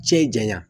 Cɛ janya